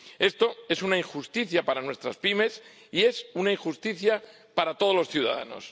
Esto es una injusticia para nuestras pymes y es una injusticia para todos los ciudadanos.